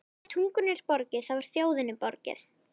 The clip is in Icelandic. Ef tungunni er borgið, þá er þjóðinni borgið.